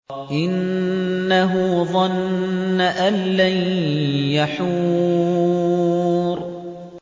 إِنَّهُ ظَنَّ أَن لَّن يَحُورَ